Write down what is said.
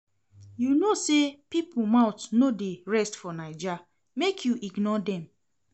You no know sey pipo mouth no dey rest for Naija? make you ignore dem.